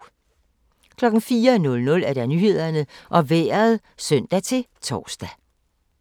04:00: Nyhederne og Vejret (søn-tor)